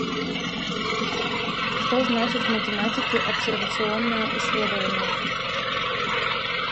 что значит в математике обсервационное исследование